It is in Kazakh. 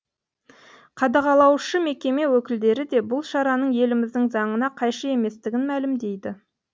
қадағалаушы мекеме өкілдері де бұл шараның еліміздің заңына қайшы еместігін мәлімдейді